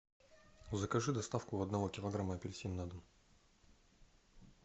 закажи доставку одного килограмма апельсинов на дом